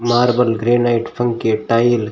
marble granite पंखे tile --